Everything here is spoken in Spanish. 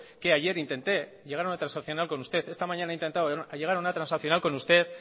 que ayer intente llegar a una transaccional con usted esta mañana he intentado llegar a una transaccional con usted